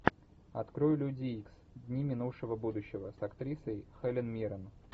открой люди икс дни минувшего будущего с актрисой хелен миррен